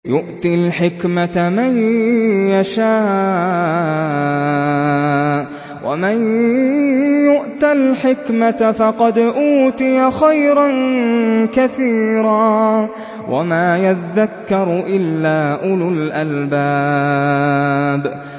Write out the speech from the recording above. يُؤْتِي الْحِكْمَةَ مَن يَشَاءُ ۚ وَمَن يُؤْتَ الْحِكْمَةَ فَقَدْ أُوتِيَ خَيْرًا كَثِيرًا ۗ وَمَا يَذَّكَّرُ إِلَّا أُولُو الْأَلْبَابِ